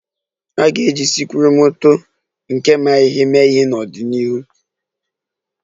A ga-eji sikruokwomoto nke ma ihe mee ihe n'ọdịnihu